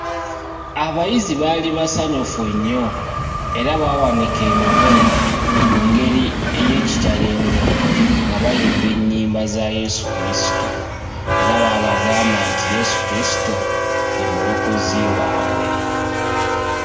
Abayizi baali basanyufu nnyo era baawanika emikono mu ngeri ey'ekitalo ennyo nga bayimba ennyimba za Yeesu Kristo era baabagamba nti Yeesu Kristo ye mulokozi waabwe.